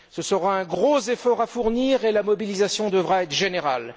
Ce sera un gros effort à fournir et la mobilisation devra être générale.